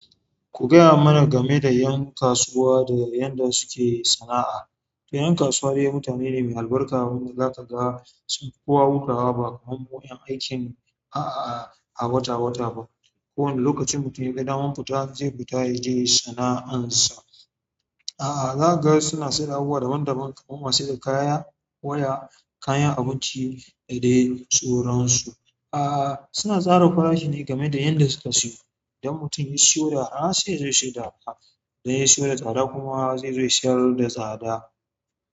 Ku gayama na game da ƴan kasuwa da yadda suke sana'a to ƴan kasuwa dai mutane ne mai albarka waɗanda za ka ga sun fi kowa hutawa ba kamar mu ƴan aiki a'a a wata wata ba. Ko wanda lokacin mutum ya ga daman fita zai fita ya je sana'ansa. Ahh za ka ga suna sayar da abubuwa daban daban kamar masu saida kaya, waya, kayan abinci da dai sauransu. Ahhh suna tsara farashi ne game da yanda suka siyo. Idan mutum ya siyo da arha sai yazo ya saida da arha, idan ya siyo da tsada kuma zai siyar da tsada.